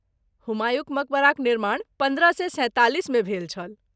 हुमायूँक मकबराक निर्माण पन्द्रह सए सैंतालिसमे भेल छल।